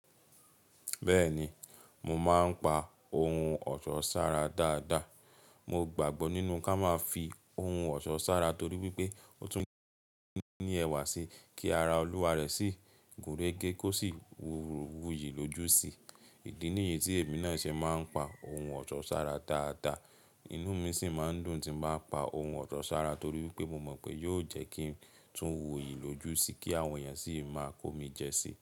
Bẹ́ẹ̀ni, mo máa ń pa ohun ọ̀ṣọ́ sára dáadáa. Mo gbàgbọ́ nínú ká máa fi ohun ọ̀ṣọ́ sára torí wípé ó tún ní ẹwà sí kí ara olúwa rẹ̀ sì gúnrégé kó sì wuyì lójú sì. Ìdí nìyí tí èmi náà ṣe máa ń pa ohun ọ̀ṣọ́ sára dáadáa, inú mi sì máa ń dùn tí m bá pa ohun ọ̀ṣọ́ sára torí wípé mo mọ̀ pé yóò jẹ́ kí n tún wuyì lójú sí kí àwọn èèyàn sì máa kó mi jẹsí.